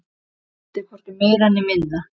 Vildi hvorki meira né minna.